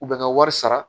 U bɛ ka wari sara